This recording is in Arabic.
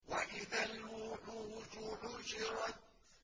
وَإِذَا الْوُحُوشُ حُشِرَتْ